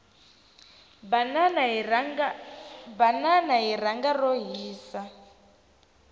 banana hi rhanga ro hisa